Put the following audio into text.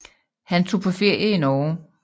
Han tog på ferie i Norge